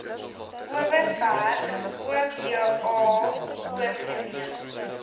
overberg oba oorgeneem